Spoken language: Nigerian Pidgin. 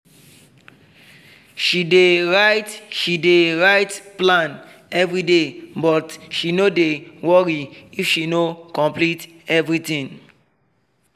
she dey write she dey write plan everyday but she no dey worry if she no complete everything